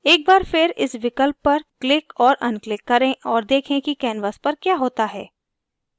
एक बार फिर इस विकल्प पर क्लिक और अनक्लिक करें और देखें की canvas पर क्या होता है